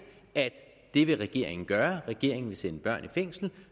at det vil regeringen gøre regeringen vil sende børn i fængsel